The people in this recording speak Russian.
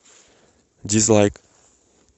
дизлайк